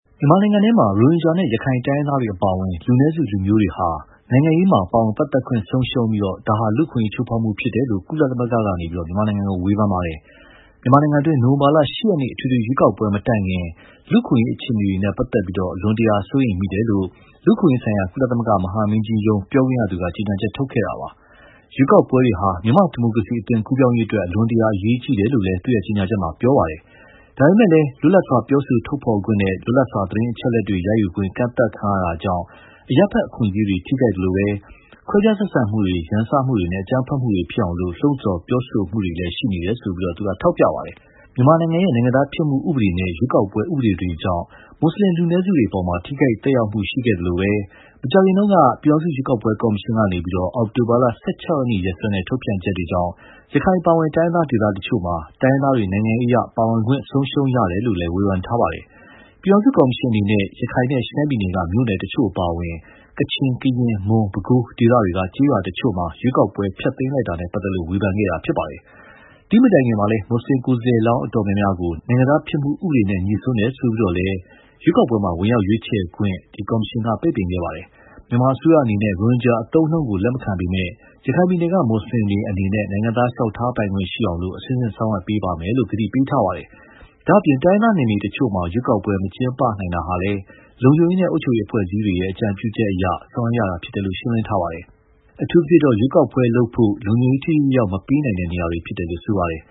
မြန်မာနိုင်ငံထဲမှာ ရိုဟင်ဂျာနဲ့ ရခိုင်တိုင်းရင်းသားတွေအပါအဝင် လူနည်းစုလူမျိုးတွေဟာ နိုင်ငံရေးမှာ ပါဝင်ပတ်သက်ခွင့်ဆုံးရှုံးနေပြီး ဒါဟာ အခွင့်အရေး ချိုးဖောက်မှုဖြစ်တယ်လို့ ကုလသမဂ္ဂက ဝေဖန်လိုက်ပါတယ်။ မြန်မာနိုင်ငံတွင်း နိုဝင်ဘာ ၈ ရက်နေ့ အထွေထွေရွေးကောက်ပွဲမတိုင်ခင် လူ့အခွင့်အရေးအခြေအနေတွေနဲ့ ပတ်သက်လို့ အလွန်တရာစိုးရိမ်မိတယ်လို့ လူ့အခွင့်အရေးဆိုင်ရာ ကုလသမဂ္ဂမဟာမင်းကြီးရုံး ပြောခွင့်ရသူက ကြေညာချက်ထုတ်ခဲ့တာပါ။ ရွေးကောက်ပွဲတွေဟာ မြန်မာ့ဒီမိုကရေစီအသွင်ကူးပြောင်းရေးအတွက် အလွန်တရာအရေးကြီးတယ်လို့လည်း သူ့ကြေညာချက်မှာ ပြောပါတယ်။ ဒါပေမဲ့လည်း လွတ်လပ်စွာပြောဆိုထုတ်ဖော်ခွင့်နဲ့ လွတ်လပ်စွာ သတင်းအချက်အလက်ရယူခွင့်တွေ ကန့်သတ်ခံရတာကြောင့် အရပ်ဘက်အခွင့်အရေးတွေ ထိခိုက်သလို၊ ခွဲခြားဆက်ဆံမှုတွေ ရန်စမှုတွေနဲ့ အကြမ်းဖက်မှုတွေဖြစ်အောင် လှုံဆော်ပြောဆိုမှုတွေလည်း ရှိနေတယ်လို့ ထောက်ပြခဲ့ပါတယ်။ မြန်မာနိုင်ငံရဲ့ နိုင်ငံသားဖြစ်မှု ဥပဒေတွေနဲ့ ရွေးကောက်ပွဲဥပဒေတွေကြောင့် မွတ်ဆလင်လူနည်းစုတွေအပေါ် ထိခိုက်သက်ရောက်မှုရှိခဲ့သလို မကြာခင်တုန်းက ပြည်ထောင်စုရွေးကောက်ပွဲကော်မရှင်ကနေ အောက်တိုဘာ ၁၆ ရက် ရက်စွဲနဲ့ထုတ်ပြန်ချက်တွေကြောင့် ရခိုင်အပါအဝင် တိုင်းရင်းသားဒေသတချို့မှာ တိုင်းရင်းသားတွေ နိုင်ငံရေးအရ ပါဝင်ခွင့်ဆုံးရှုံးရတယ်လို့လည်း ဝေဖန်ထားပါတယ်။ ပြည်ထောင်စုကော်မရှင်အနေနဲ့ ရခိုင်နဲ့ ရှမ်းပြည်နယ်က မြို့နယ်တချို့အပါအဝင် ကချင် ကရင်၊ မွန်၊ ပဲခူးဒေသတွေက ကျေးရွာတချို့မှာ ရွေးကောက်ပွဲ ဖျက်သိမ်းလိုက်တာနဲ့ ပတ်သက်လို့ ဝေဖန်တာဖြစ်ပါတယ်။ ဒီမတိုင်ခင်မှာ မွတ်ဆလင်ကိုယ်စားလှယ်အတော်များများကို နိုင်ငံသားဖြစ်မှုဥပဒေနဲ့ ညှိစွန်းတယ်ဆိုပြီးတော့လည်း ကော်မရှင်က ဝင်ရောက်ရွေးချယ်ပိုင်ခွင့် ပိတ်ခဲ့ပါတယ်။ မြန်မာအစိုးရအနေနဲ့ ရိုဟင်ဂျာအသုံးအနှုန်းကို လက်မခံပေမဲ့လည်း၊ ရခိုင်ပြည်နယ်က မွတ်ဆလင်တွေအနေနဲ့ နိုင်ငံသားလျှောက်ထားပိုင်ခွင့်ရှိအောင် အဆင့်ဆင့်ဆောင်ရွက်မယ်လို့ ဂတိပေးထားပါတယ်။ ဒါ့အပြင် တိုင်းရင်းသားနယ်မြေတချို့မှာ ရွေးကောက်ပွဲမကျင်းပနိုင်တာဟာလည်း လုံခြုံရေးနဲ့ အုပ်ချုပ်ရေး အဖွဲ့အစည်းတွေရဲ့ အကြံပြုချက်အရ ဆောင်ရွက်ရတာလို့ ရှင်းလင်းထားပါတယ်။ အထူးသဖြင့် ရွေးကောက်ပွဲလုပ်ဖို့ လုံခြုံရေးထိထိရောက်ရောက်မပေးနိုင်တဲ့နေရာတွေဖြစ်တယ်လို့ ပြောပါတယ်